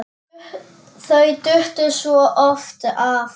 Þau duttu svo oft af.